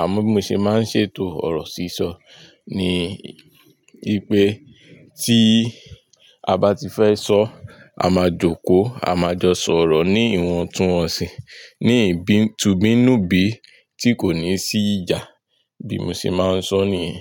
àmọ́ bí mo ṣe máa ń ṣètò ọ̀rọ̀ sísọ ni pé tí a bá ti fẹ́ sọ a máa jókòó a máa jọ sọ̀rọ̀ ní ìwọ̀ntúnwọ̀nsì ní tìbínú bí tí kò ní sí ìjà bí mo ṣe máa ń sọ nìyẹn.